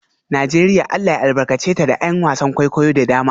Najeriya Allah ya albarkace ta da ’yan wasan kwaikwayo da dama